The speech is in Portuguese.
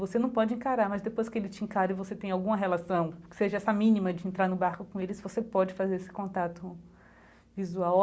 Você não pode encarar, mas depois que ele te encara e você tem alguma relação, seja essa mínima de entrar no barco com eles, você pode fazer esse contato visual.